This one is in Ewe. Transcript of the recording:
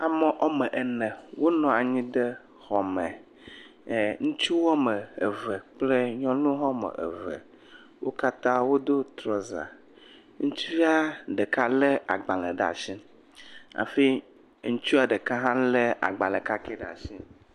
ame ɔme ene wó nɔnyi ɖe xɔ me ŋutsu wɔmeve kple nyɔnu wɔmeve wókatã wodó trɔza ŋutsua ɖeka le agbalē ɖa'si hafi ŋutsua ɖeka hã le agbalē kakɛ ɖe asi